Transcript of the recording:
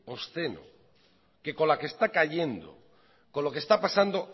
obsceno que con la que está cayendo con lo que está pasando